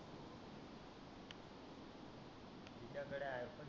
तिच्या कडे iPhone six